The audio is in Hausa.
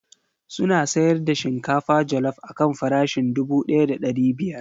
Suna sayar da shinkafa jallop akan farashin dubu daya da ɗari biyar.